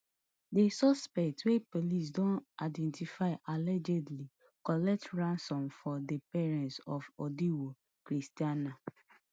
di suspect wey police don identify allegedly collect ransom from di parents of idowu christianah